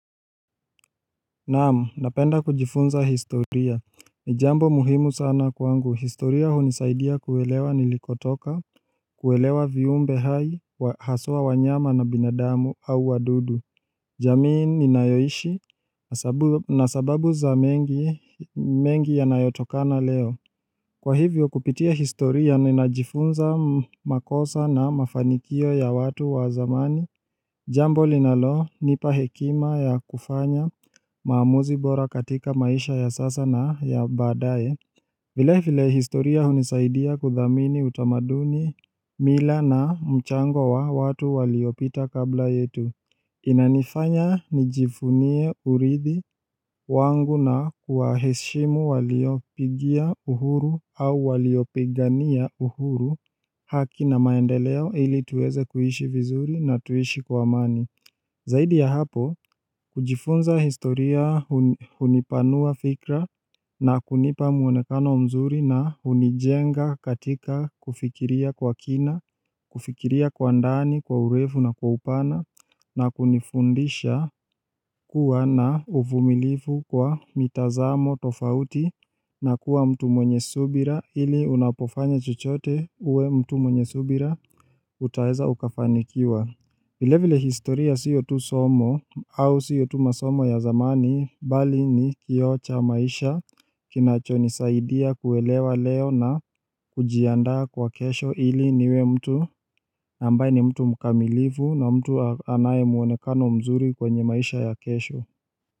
Naam, napenda kujifunza historia. Ni jambo muhimu sana kwangu, historia hunisaidia kuelewa nilikotoka kuelewa viumbe hai, haswa wanyama na binadamu au wadudu. Jamii ninayoishi na sababu za mengi yanayotokana leo. Kwa hivyo kupitia historia ninajifunza makosa na mafanikio ya watu wa zamani Jambo linalonipa hekima ya kufanya maamuzi bora katika maisha ya sasa na ya baadaye Vilevile historia hunisaidia kuthamini utamaduni, mila na mchango wa watu waliopita kabla yetu. Inanifanya nijivunie uridhi wangu na kuwaheshimu waliopigia uhuru au waliopigania uhuru, haki na maendeleo ili tuweze kuishi vizuri na tuishi kwa amani. Zaidi ya hapo, kujifunza historia hunipanua fikra na kunipa mwonekano mzuri na hunijenga katika kufikiria kwa kina, kufikiria kwa ndani, kwa urefu na kwa upana na kunifundisha kuwa na uvumilifu kwa mitazamo tofauti na kuwa mtu mwenye subira ili unapofanya chochote uwe mtu mwenye subira utaweza ukafanikiwa. Vile vile historia sio tu somo au sio tu masomo ya zamani bali ni kioo cha maisha kinachonisaidia kuelewa leo na kujiandaa kwa kesho ili niwe mtu ambaye ni mtu mkamilivu na mtu anaye mwonekano mzuri kwenye maisha ya kesho.